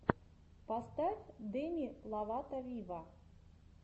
поставь деми ловато виво